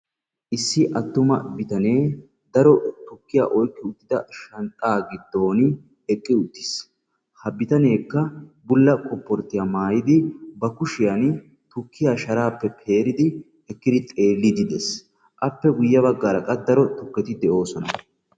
Issi attuma bitanee daro tukkiya oyqqi uttida shanxxa giddon eqqi uttiis. ha bitaneekka bulla kopporttiya maayyidi ba kushiyaan tukkiya shaarappe peeridi ekkidi xeellidi de'ees. appe guyye baggaara qassi daro tukketi de'oosona.